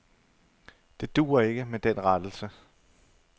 Det duer ikke med den rettelse.